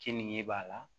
Keninge b'a la